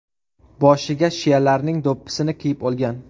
Boshiga shialarning do‘ppisini kiyib olgan.